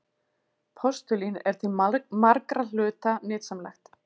Postulín er til margra hluta nytsamlegt.